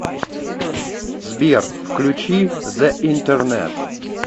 сбер включи зе интернет